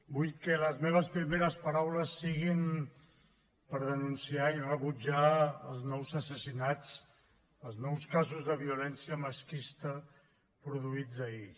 vull que les meves primeres paraules siguin per denunciar i rebutjar els nous assassinats els nous casos de violència masclista produïts ahir